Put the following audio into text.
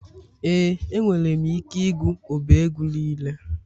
Ee enwere m ike ịgụ ọba egwu niile.